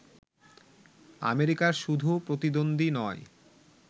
আমেরিকার শুধু প্রতিদ্বন্দ্বী নয়